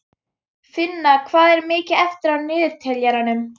Finna, hvað er mikið eftir af niðurteljaranum?